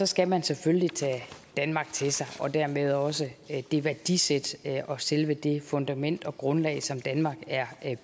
skal man selvfølgelig tage danmark til sig og dermed også det værdisæt og selve det fundament og grundlag som danmark er